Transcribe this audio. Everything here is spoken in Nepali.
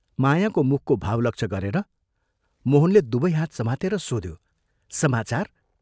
मायाको मुखको भाव लक्ष्य गरेर मोहनले दुवै हात समातेर सोध्यो, "समाचार?